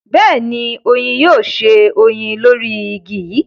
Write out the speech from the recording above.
beeni, oyin yoo se oyin lori igi yi